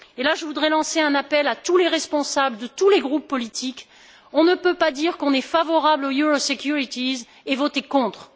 Je voudrais lancer un appel à tous les responsables de tous les groupes politiques on ne peut pas dire qu'on est favorable aux euro obligations et voter contre.